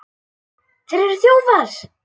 Þetta eru þjófar!